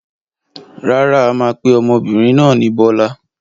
Rárá, a máa pe ọmọbìnrin náà ni Bọ́lá.